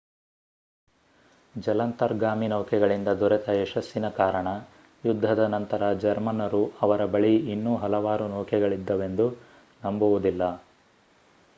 ಜಲಾಂತರ್ಗಾಮಿ ನೌಕೆಗಳಿಂದ ದೊರೆತ ಯಶಸ್ಸಿನ ಕಾರಣ ಯುದ್ಧದ ನಂತರ ಜರ್ಮನ್ನರು ಅವರ ಬಳಿ ಇನ್ನೂ ಹಲವಾರು ನೌಕೆಗಳಿದ್ದವೆಂದು ನಂಬುವುದಿಲ್ಲ